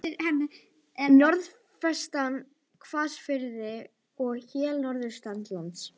Norðvestan hvassviðri og él norðaustanlands